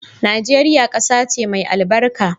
Nageria kasace mai albarka.